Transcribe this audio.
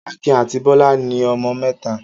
Akin àti Bọ́lá ní ọmọ mẹ́ta.